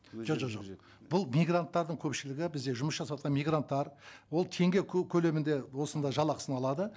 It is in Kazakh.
жоқ жоқ жоқ жоқ бұл мигранттардың көпшілігі бізде жұмыс жасаватқан мигранттар ол теңге көлемінде осында жалақысын алады